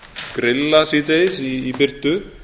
grilla síðdegis í birtu